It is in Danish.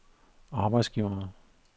arbejdsgivere